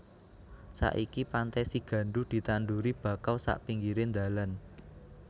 Saiki Pantai Sigandu ditanduri bakau sak pinggire ndalan